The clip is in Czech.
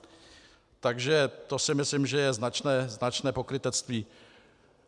Takže to si myslím, že je značné pokrytectví.